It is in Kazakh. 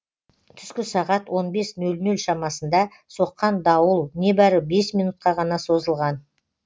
түскі сағат он бес нөл нөл шамасында соққан дауыл небәрі бес минутқа ғана созылған